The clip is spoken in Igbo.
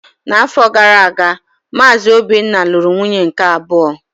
N'afọ gara aga, Maazị Obinna lụrụ nwunye nke abụọ.